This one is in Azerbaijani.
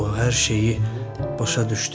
O hər şeyi başa düşdü.